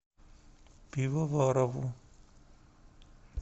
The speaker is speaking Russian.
пивоварову